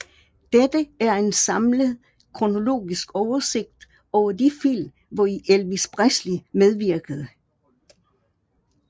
Dette er en samlet kronologisk oversigt over de film hvori Elvis Presley medvirkede